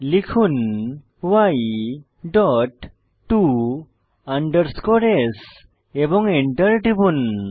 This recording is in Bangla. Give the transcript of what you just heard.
লিখুন y ডট to s এবং এন্টার টিপুন